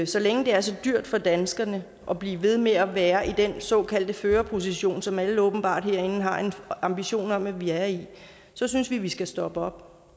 så længe det er så dyrt for danskerne at blive ved med at være i den såkaldte førerposition som alle herinde åbenbart har en ambition om at vi er i så synes vi vi skal stoppe op